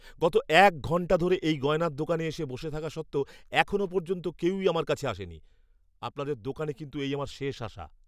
গত এক ঘন্টা ধরে এই গয়নার দোকানে এসে বসে থাকা সত্ত্বেও এখনও পর্যন্ত কেউই আমার কাছে আসেনি। আপনাদের দোকানে কিন্তু এই আমার শেষ আসা।